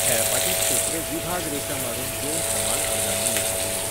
खेळपाचें क्षेत्र 'विभाग रेशा' मारून दोन समान अर्दांनी विभागिल्लें.